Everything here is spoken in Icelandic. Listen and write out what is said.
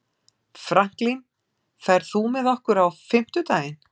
Franklin, ferð þú með okkur á fimmtudaginn?